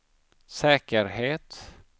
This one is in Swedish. säkerhet